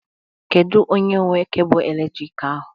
Kedu onye nwe cable eletrik ahụ?